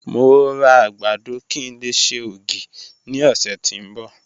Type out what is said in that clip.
Mo ra agbado ki n le ṣe ogi ni ọsẹ ti n bọ